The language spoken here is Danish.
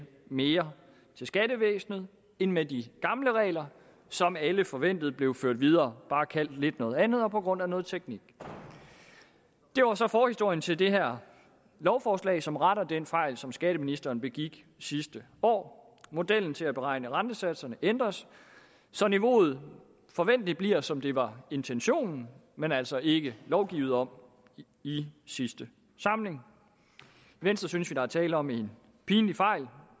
mere til skattevæsenet end med de gamle regler som alle forventede blev ført videre bare kaldt lidt noget andet og på grund af noget teknik der var så forhistorien til det her lovforslag som retter den fejl som skatteministeren begik sidste år modellen til at beregne rentesatserne ændres så niveauet forventeligt bliver som det var intentionen men altså ikke lovgivet om i sidste samling i venstre synes der er tale om en pinlig fejl